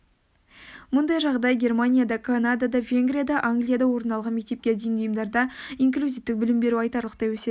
мұндай жағдай германияда канадада венгрияда англияда орын алған мектепке дейінгі ұйымдарда инклюзивтік білім беру айтарлықтай өседі